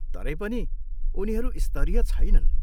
तरै पनि, उनीहरू स्तरीय छैनन्।